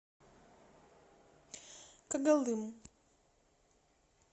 когалым